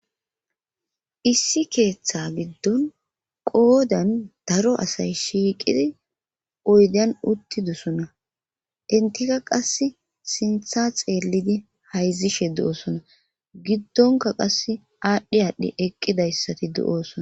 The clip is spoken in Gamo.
issi keeththa giddon qoodan daro asay shiiqidi oydan uttidusona intika qas sintha xeellidi hayzishe du7osona giddonka qas aadhdhi aadhdhi eqqidayssati du7oosona